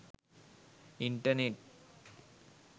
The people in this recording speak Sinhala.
internet